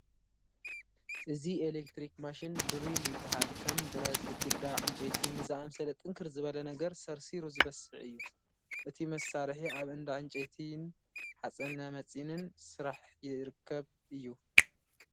እዚ ኤለክትሪክ ማሽን ድሪል ይበሃል፡፡ ከም ብረት፣ ግድግዳ፣ ዕንጨይቲ ንዝኣምሰለ ጥንክር ዝበለ ነገር ሰርሲሩ ዝበስዕ እዩ፡፡ እዚ መሳርሒ ኣብ እንዳ ዕንጨይትን ሓፂነመፂንን ስራሕ ይርከብ እዩ፡፡